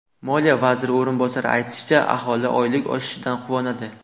Moliya vaziri o‘rinbosari aytishicha, aholi oylik oshishidan quvonadi.